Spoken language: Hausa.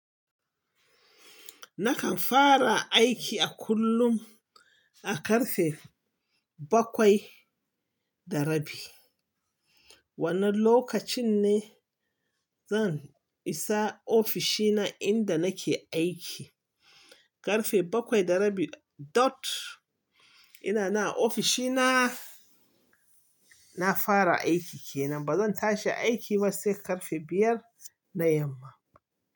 Nakan fara aiki a kullum a ƙarfe bakwai da rabi. Wannan lokacin ne zan isa ofishina inda nake aiki. Ƙarfe bakwai da rabi dot ina nan a ofishina. Na fara aiki kenan. Ba zan tashi aiki ba sai ƙarfe biyar na yamma.